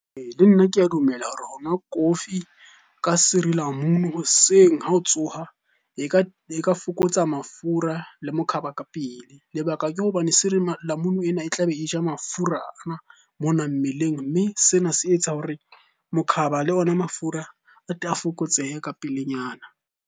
Ee, le nna ke a dumela hore ho nwa kofi ka sirilamunu hoseng ha o tsoha e ka fokotsa mafura le mokhaba ka pele. Lebaka ke hobane sirilamunu ena e tlabe e ja mafura ana mona mmeleng. Mme sena se etsa hore mokhaba le ona mafura a tle a fokotsehe ka pelenyana.